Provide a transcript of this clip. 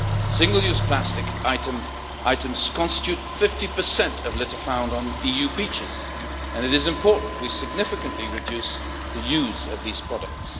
Single use plastic items constitute 50 of litter found on EU beaches, and it is important that we significantly reduce the use of these products.